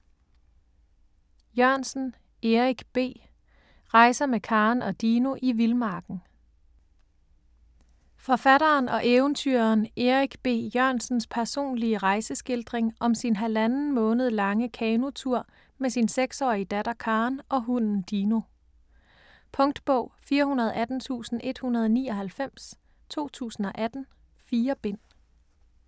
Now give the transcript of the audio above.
Jørgensen, Erik B.: Rejser med Karen og Dino i vildmarken Forfatteren og eventyreren Erik B. Jørgensens personlige rejeskildring om sin halvanden måned lange kanotur med sin 6-årige datter Karen og hunden Dino. Punktbog 418199 2018. 4 bind.